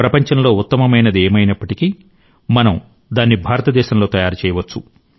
ప్రపంచంలో ఉత్తమమైనది ఏమైనప్పటికీ మనం దాన్ని భారతదేశంలో తయారు చేయవచ్చు